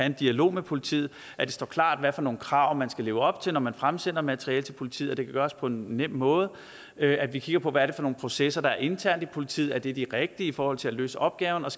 en dialog med politiet at det står klart hvad for nogle krav man skal leve op til når man fremsender materiale til politiet at det kan gøres på en nem måde at vi kigger på hvad det er for nogle processer der er internt i politiet og om det er de rigtige i forhold til at løse opgaven og